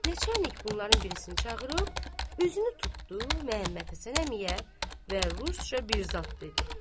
Neçə ilik bunların birisini çağırıb özünü tutdu Məhəmməd Həsən əmiyə və rusca bir zad dedi.